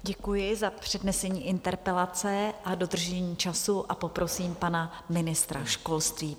Děkuji za přednesení interpelace a dodržení času a poprosím pana ministra školství.